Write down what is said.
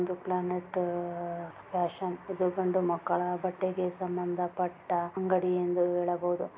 ಒಂದು planet fashions ಇದು ಗಂಡು ಮಕ್ಕಳ ಬಟ್ಟೆಗೆ ಸಂಬಂಧ ಪಟ್ಟ ಅಂಗಡಿಯೆಂದು ಹೇಳಬಹುದು.